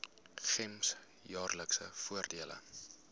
gems jaarlikse voordele